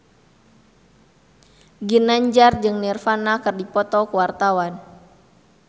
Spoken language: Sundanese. Ginanjar jeung Nirvana keur dipoto ku wartawan